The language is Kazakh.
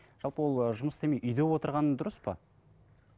жалпы ол жұмыс істемей үйде отырғаны дұрыс па